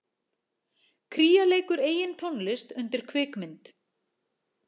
Kría leikur eigin tónlist undir kvikmynd